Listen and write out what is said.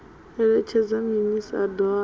eletshedza minis a doa na